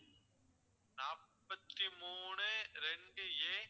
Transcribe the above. நாப்பத்தி மூணு ரெண்டு A